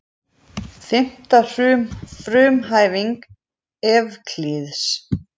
Fimmta frumhæfing Evklíðs.